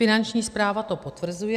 Finanční správa to potvrzuje.